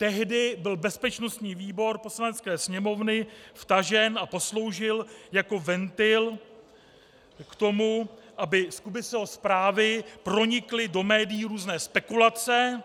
Tehdy byl bezpečnostní výbor Poslanecké sněmovny vtažen a posloužil jako ventil k tomu, aby z Kubiceho zprávy pronikly do médií různé spekulace,